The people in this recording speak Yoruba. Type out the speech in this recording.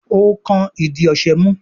o kán ìdí ọṣẹ mú